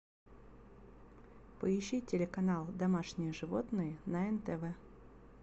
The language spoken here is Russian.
поищи телеканал домашние животные на нтв